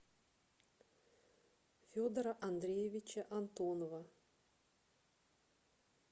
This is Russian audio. федора андреевича антонова